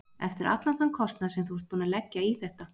Eftir allan þann kostnað sem þú ert búinn að leggja í þetta.